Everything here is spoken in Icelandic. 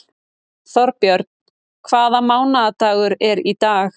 Þórbjörn, hvaða mánaðardagur er í dag?